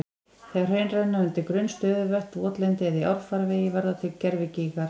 Þegar hraun renna yfir grunn stöðuvötn, votlendi eða í árfarvegi verða til gervigígar.